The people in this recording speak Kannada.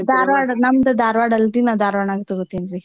ದಾರ್ವಾಡ್ ನಮ್ಡ್ ದಾರ್ವಾಡ್ ಅಲ್ಲರಿ ನಾವ್ ದಾರ್ವಾಡಲ್ರಿ ನಾ ದಾರ್ವಾಡ್ನಾಗ್ ತಗೋತೀನ್ರೀ.